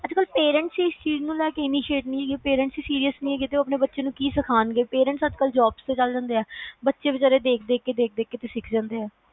ਅੱਜ ਕਲ parents ਹੀ serious ਨੀ ਹੈਗੇ ਤੇ ਉਹ ਆਪਣੇ ਬਚੇ ਨੂੰ ਕੀ ਸਖੋਂਨ ਗਏ, parents ਅੱਜ ਕਲ job ਤੇ ਚਲ ਜਾਂਦੇ ਹਾਂ, ਬਚੇ ਵਿਚਾਰੇ ਦੇਖ ਦੇਖ ਕੇ ਸਿੱਖ ਜਾਂਦੇ ਆ